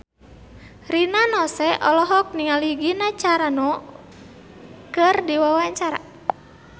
Rina Nose olohok ningali Gina Carano keur diwawancara